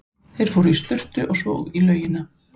Þeir fóru í sturtu og svo út í laugina.